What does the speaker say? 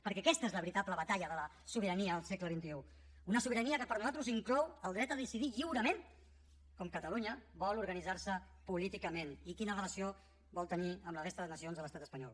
perquè aquesta és la veritable batalla de la sobirania al segle xxi una sobirania que per nosaltres inclou el dret a decidir lliurement com catalunya vol organitzar se políticament i quina relació vol tenir amb la resta de nacions de l’estat espanyol